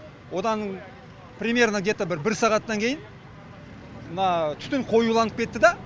одан примерно где то бір бір сағаттан кейін мына түтін қоюланып кетті да